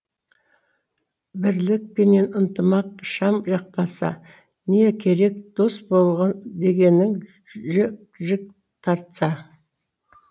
бірлік пенен ынтымақ шам жақпаса не керек дос дегенің жік жік тартса